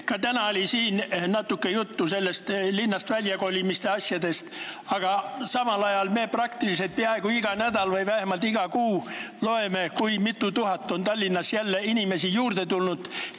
Ka täna oli siin natuke juttu linnast väljakolimise asjadest, aga samal ajal me peaaegu iga nädal või vähemalt iga kuu loeme, kui mitu tuhat inimest on Tallinnasse jälle juurde tulnud.